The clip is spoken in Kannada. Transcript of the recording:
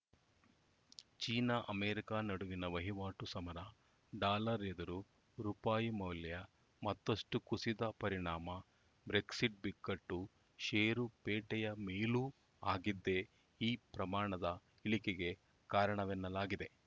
ಚೀನಾ ಅಮೇರಿಕ ನಡುವಿನ ವಹಿವಾಟು ಸಮರ ಡಾಲರ್‌ ಎದುರು ರುಪಾಯಿ ಮೌಲ್ಯ ಮತ್ತಷ್ಟುಕುಸಿದ ಪರಿಣಾಮ ಬ್ರೆಕ್ಸಿಟ್‌ ಬಿಕ್ಕಟ್ಟು ಷೇರುಪೇಟೆಯ ಮೇಲೂ ಆಗಿದ್ದೇ ಈ ಪ್ರಮಾಣದ ಇಳಿಕೆಗೆ ಕಾರಣವೆನ್ನಲಾಗಿದೆ